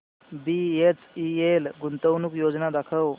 BHEL गुंतवणूक योजना दाखव